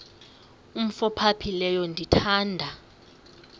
umf ophaphileyo ndithanda